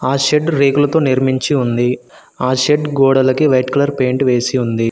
ఆ షెడ్డు రేకులతో నిర్మించి ఉంది ఆ షెడ్ గోడలకి వైట్ కలర్ పెయింట్ వేసి ఉంది.